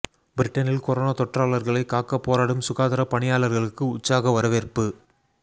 பிரிட்டனில் கொரோனா தொற்றாளர்களை காக்க போராடும் சுகாதார பணியாளர்களுக்கு உற்சாக வரவேற்பு